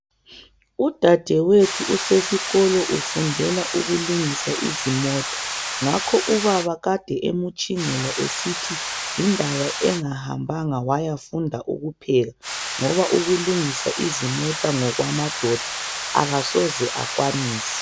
Udadewethu usesikolo ufundela ukulungisa izimota ngakho ubaba kade emutshingela esithi yindaba engahambanga wayafunda ukupheka ngoba ukulungisa izimota ngokwamadoda, akasoze akwanise.